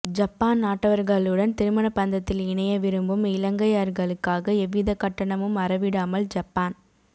Japan நாட்டவர்களுடன் திருமண பந்தத்தில் இணைய விரும்பும் இலங்கையர்களுக்காக எவ்வித கட்டணமும் அறவிடாமல் ஜப்பான்